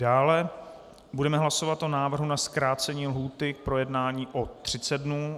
Dále budeme hlasovat o návrhu na zkrácení lhůty k projednání o 30 dnů.